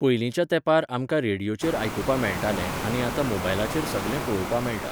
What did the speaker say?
पयलींच्या तेंपार आमकां रेडिओचेर आयकुपा मेळटालें आनी आतां मोबायलाचेर सगलें पळोवपा मेळटा